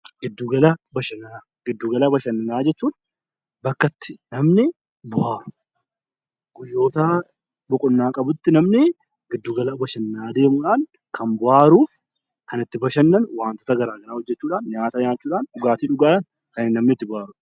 Giddu gala bashannanaa jechuun bakka itti namni bo'aaru. Guyyoota boqonnaa qabutti namni giddu gala bashannanaa deemuudhaan kan bo'aaruu fi kan itti bashannanu wantoota garaa garaa hojjechuudhaan, nyaata nyaachuudhaan fi dhugaatii dhuguudhaan kan namni itti bo'aaruudha.